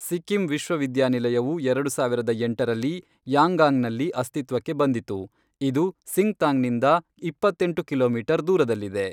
ಸಿಕ್ಕಿಂ ವಿಶ್ವವಿದ್ಯಾನಿಲಯವು ಎರಡು ಸಾವಿರದ ಎಂಟರಲ್ಲಿ ಯಾಂಗಾಂಗ್ನಲ್ಲಿ ಅಸ್ತಿತ್ವಕ್ಕೆ ಬಂದಿತು, ಇದು ಸಿಂಗ್ತಾಂನಿಂದ ಇಪ್ಪತ್ತೆಂಟು ಕಿಲೋಮೀಟರ್ ದೂರದಲ್ಲಿದೆ.